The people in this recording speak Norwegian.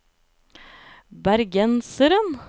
bergenseren